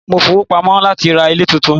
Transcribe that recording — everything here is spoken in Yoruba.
Mo ń fowó pamọ́ láti ra ilé tuntun.